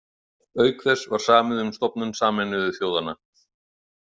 Auk þess var samið um stofnun Sameinuðu þjóðanna.